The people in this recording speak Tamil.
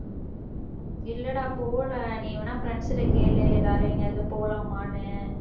இல்லடா போகல. நீ வேணா, friends கிட்ட கேளு. எல்லாரும் எங்கயாவது போலாமான்னு